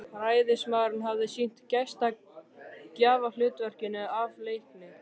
Ræðismaðurinn hafði sinnt gestgjafahlutverkinu af leikni.